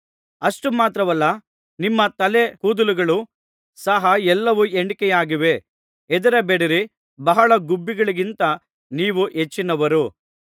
ಅಷ್ಟುಮಾತ್ರವಲ್ಲ ನಿಮ್ಮ ತಲೆ ಕೂದಲುಗಳು ಸಹ ಎಲ್ಲವೂ ಎಣಿಕೆಯಾಗಿವೆ ಹೆದರಬೇಡಿರಿ ಬಹಳ ಗುಬ್ಬಿಗಳಿಗಿಂತ ನೀವು ಹೆಚ್ಚಿನವರು